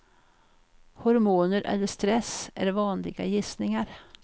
Hormoner eller stress är vanliga gissningar.